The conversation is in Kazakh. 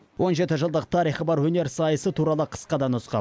он жеті жылдық тарихы бар өнер сайысы туралы қысқа да нұсқа